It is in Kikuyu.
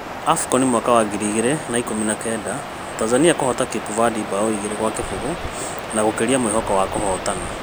Afcon 2019: Tanzania kũhota Cape Verde mbaũ igĩrĩ gwa kĩbũgũ na gũkĩria mwĩhoko wa kũhotana